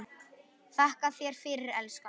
Þakka þér fyrir, elskan.